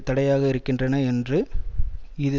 தடையாக இருக்கின்றன என்று இது